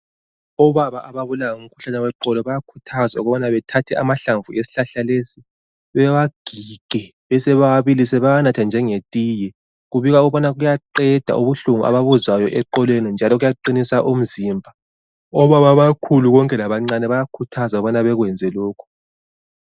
Obaba ababulawa ngumkhuhlane weqolo bayakhuthazwa ukubana bethathe amahlamvu esihlahla lesi, bewagige besebewabilisa bawanathe njengetiye. Kubikwa ukubana kuyaqeda ubuhlungu ababuzwayo eqolweni njalo kuyaqinisa umzimba. Obaba abakhulu konke labancane bayakhuthazwa ukubana bekwenze lokhu.